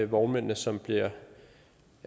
vognmændene som bliver